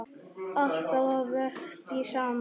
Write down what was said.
Alltaf að verki saman.